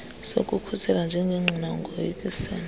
sokukhuselwa njengengqina ungoyikisela